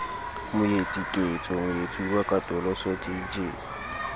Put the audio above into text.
moetsi ketso moetsuwa katoloso jj